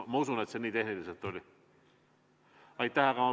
Ma usun, et tehniliselt see nii oli.